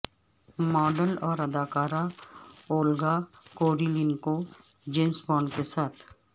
model اور اداکارہ Olga Kurylenko James Bond کے ساتھ